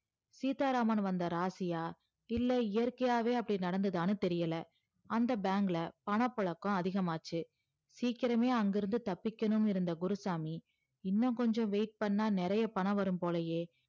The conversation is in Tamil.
சீத்தா ராமன் வந்தா ராசியா இல்ல இயர்க்கியாவே அப்படி நடந்துதாணு தெரியல அந்த bank ல பணம் புழக்கம் அதிகமாச்சி சீக்கிரமே அங்கருந்து தப்பிக்கனும்னு இருந்த குருசாமி இன்னும் கொஞ்சம் wait பண்ணா நிறைய பணம் வரும் போலையே